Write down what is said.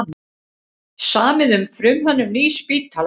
Samið um frumhönnun nýs spítala